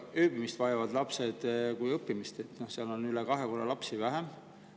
Lapsi – nii ööbivaid kui ka õppivaid – on seal üle kahe korra vähemaks jäänud.